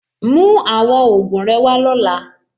Mú àwọn ògùn rẹ wá lọ́la.